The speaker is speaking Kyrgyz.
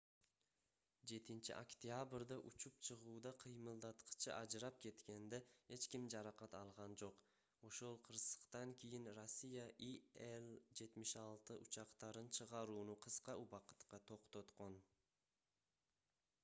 7-октябрда учуп чыгууда кыймылдаткычы ажырап кеткенде эч ким жаракат алган жок ошол кырсыктан кийин россия ил-76 учактарын чыгарууну кыска убакытка токтоткон